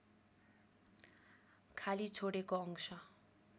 खाली छोडेको अंश